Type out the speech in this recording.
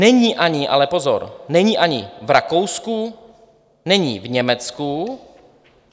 Není ani, ale pozor, není ani v Rakousku, není v Německu.